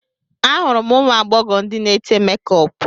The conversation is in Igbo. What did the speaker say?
Ahụrụ m ụmụ agbọghọ ndị na-ete mekup